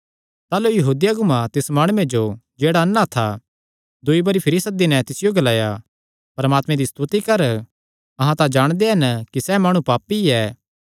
ताह़लू यहूदी अगुआं तिस माणुये जो जेह्ड़ा अन्ना था दूई बरी भिरी सद्दी नैं तिसियो ग्लाया परमात्मे दी स्तुति कर अहां तां जाणदे हन कि सैह़ माणु पापी ऐ